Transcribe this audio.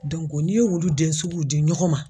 n'i ye olu den suguw di ɲɔgɔn ma.